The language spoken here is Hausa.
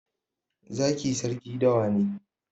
Zaki sarki dawa ne